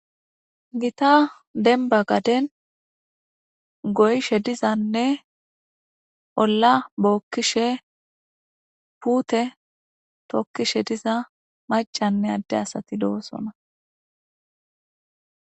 Giita dembba gadden goyishe diza oolla bookishe diza puutte tookishe diza macanne adde asati de'iossonna